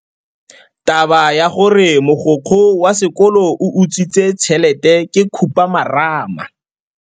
Taba ya gore mogokgo wa sekolo o utswitse tšhelete ke khupamarama.